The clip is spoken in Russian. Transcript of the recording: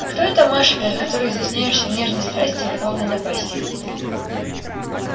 а кто эта маша перед которой изъясняешься в нежной страсти и в любовной напасти